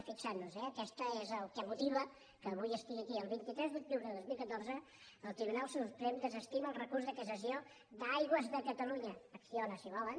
fi·xem·nos eh aquest és el que motiva que avui estigui aquí el vint tres d’octubre de dos mil catorze el tribunal suprem de·sestima el recurs de cassació d’aigües de catalunya acciona si volen